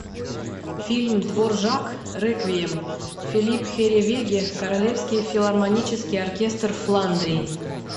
фильм дворжак реквием филипп херревеге королевский филармонический оркестр фландрии